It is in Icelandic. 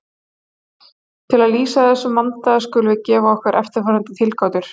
Til að lýsa þessum vanda skulum við gefa okkur eftirfarandi tilgátur.